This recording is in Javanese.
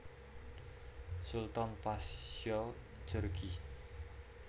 Sultan Pasya Djorghi